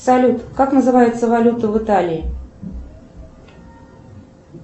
салют как называется валюта в италии